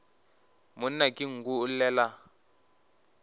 monna ke nku o llela